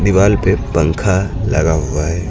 दीवाल पे पंखा लगा हुआ है।